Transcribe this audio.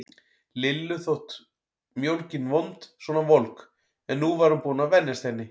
Lillu þótt mjólkin vond svona volg, en nú var hún búin að venjast henni.